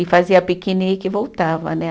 E fazia piquenique e voltava, né?